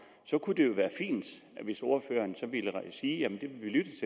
kunne det jo være fint hvis ordføreren så ville sige jamen det vil vi lytte